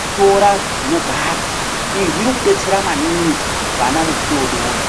kutore zvinodhaka. Izvi zviri kubetsere maningi vana vechidodori.